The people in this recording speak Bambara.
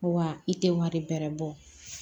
Wa i tɛ wari bɛrɛ bɔ